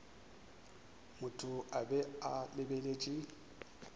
motho a be a lebeletše